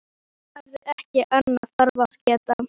Hún hafði ekki annað þarfara að gera.